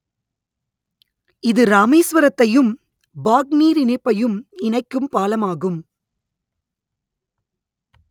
இது ராமேஸ்வரத்தையும் பாக் நீரிணைப்பையும் இணைக்கும் பாலமாகும்